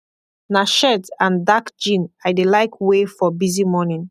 na shirt and dark jean i dey laik wey for bizy morning